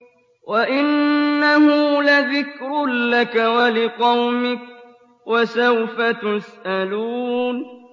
وَإِنَّهُ لَذِكْرٌ لَّكَ وَلِقَوْمِكَ ۖ وَسَوْفَ تُسْأَلُونَ